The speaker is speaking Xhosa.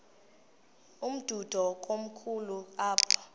umdudo komkhulu apha